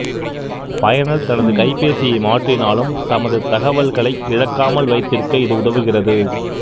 பயனர் தனது கைபேசியை மாற்றினாலும் தமது தகவல்களை இழக்காமல் வைத்திருக்க இது உதவுகிறது